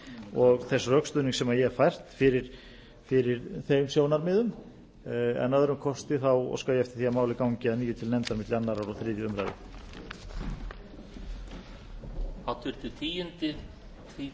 og þess rökstuðnings sem ég hef fært fyrir þeim sjónarmiðum að öðrum kosti óska ég eftir því að málið gangi að nýju til nefndarinnar til annars og þriðju umræðu